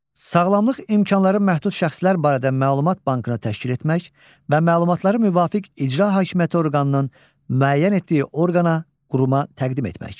Sağlamlıq imkanları məhdud şəxslər barədə məlumat bankını təşkil etmək və məlumatları müvafiq icra hakimiyyəti orqanının müəyyən etdiyi orqana, quruma təqdim etmək.